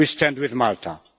We stand with Malta.